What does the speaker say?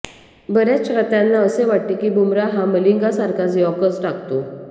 बऱ्याच चाहत्यांना असे वाटते की बुमरा हा मलिंगासारखाच यॉर्कर टाकतो